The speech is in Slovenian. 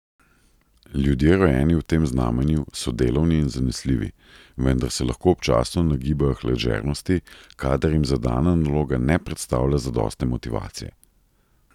Ljudje, rojeni v tem znamenju, so delovni in zanesljivi, vendar se lahko občasno nagibajo k ležernosti, kadar jim zadana naloga ne predstavlja zadostne motivacije.